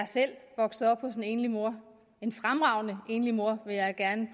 selv vokset op hos en enlig mor en fremragende enlig mor vil jeg gerne